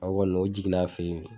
O kɔni o jiginna fe yen